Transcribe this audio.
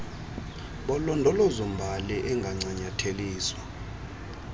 bolondolozo mbali angancanyatheliswa